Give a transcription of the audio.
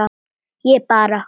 Ég bara.